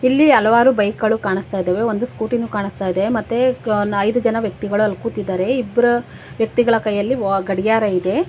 ಇಲ್ಲಿ ಹಲವಾರು ಬೈಕ್ ಗಳು ಕಾಣಿಸ್ತಾ ಇದ್ದಾವೆ ಒಂದು ಸ್ಕೂಟಿ ನು ಕಾಣಿಸ್ತಾ ಇದೆ ಮತ್ತೆ ಐದು ಜನ ವ್ಯಕ್ತಿಗಳು ಅಲ್ಲಿ ಕೂತಿದ್ದಾರೆ ಇಬ್ರ ವ್ಯಕ್ತಿಗಳ ಕೈಯಲ್ಲಿ ವ ಗಡಿಯಾರ ಇದೆ.